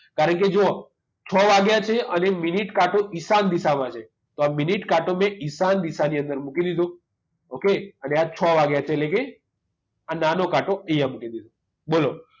કારણ કે જુઓ છ વાગ્યા છે અને મિનિટ કાંટો ઈશાન દિશામાં છે તો આ મિનિટ કાંટો મેં ઈશાન દિશાની અંદર મૂકી દીધો okay અને આ છ વાગ્યા છે એટલે કે આ નાનો કાંટો અહીંયા મૂકી દીધો બોલો